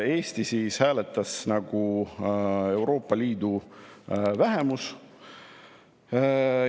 Eesti hääletas, nagu hääletas Euroopa Liidu vähemus.